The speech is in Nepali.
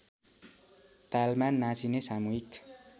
तालमा नाचिने सामूहिक